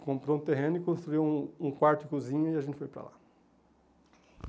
Comprou um terreno e construiu um um quarto e cozinha e a gente foi para lá.